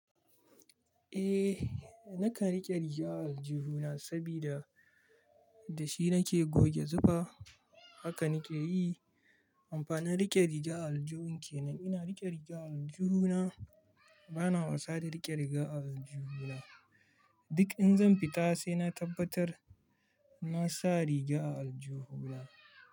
Eh, nakan rike riga a aljihu na sabida da shi nake goge zufa haka nake yi. Amfanin rike riga a aljihun kenan, ina rike riga a aljihu na bana wasa da rike riga a aljihu na. Duk in zan fita sai na tabbatar na sa riga a aljihu na.